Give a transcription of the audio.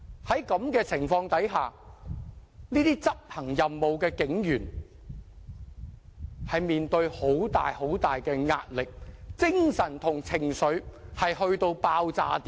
在這種情況下，這些執行任務的警員承受很大壓力，精神和情緒都達到爆炸點。